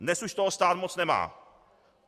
Dnes už toho stát moc nemá.